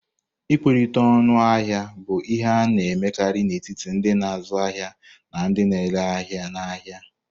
Ịkwerite ọñu ahia bụ ihe a na-emekarị n'etiti ndị na-azụ ahịa na ndị na-ere ahịa n'ahịa.